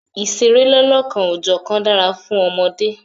Ìṣeré lọ́lọ́kan-ò-jọ̀kan dára fún ọmọdé.